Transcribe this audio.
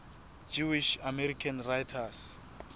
jewish american writers